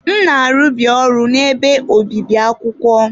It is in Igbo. M na-arụbu ọrụ n'ebe obibi akwụkwọ.